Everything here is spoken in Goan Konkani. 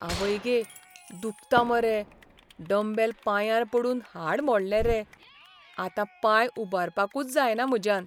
आवय गे! दुखता मरे. डम्बेल पांयांर पडून हाड मोडलें रे. आतां पांय उबारपाकूच जायना म्हज्यान.